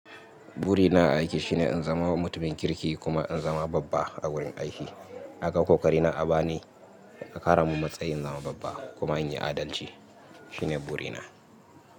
Buri na a aiki shine in zama mutumin kirki kuma in zama babba a wurin aiki. A ga kokarina a bani, a ƙara mun matsayi in zama babba kuma in yi adalci. Shi ne ɓuri na.